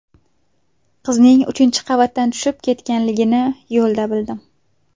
Qizning uchinchi qavatdan tushib ketganligini yo‘lda bildim.